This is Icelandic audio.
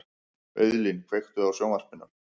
Auðlín, kveiktu á sjónvarpinu.